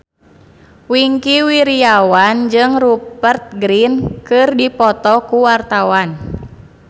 Wingky Wiryawan jeung Rupert Grin keur dipoto ku wartawan